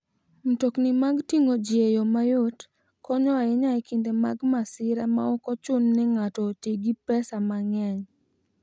Mtokni mag ting'o ji e yo mayot konyo ahinya e kinde mag masira maok ochuno ni ng'ato oti gi pesa mang'eny.